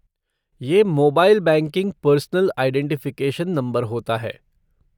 ये mobile banking personal identification number होता है।